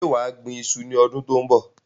Ṣé wà á gbín ìṣu ní ọdún tó ń bọ̀?